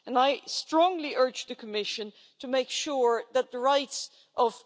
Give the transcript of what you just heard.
I strongly urge the Commission to make sure that the rights of